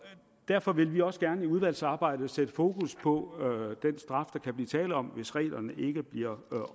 derfor vil vi også gerne i udvalgsarbejdet sætte fokus på den straf der kan blive tale om hvis reglerne ikke bliver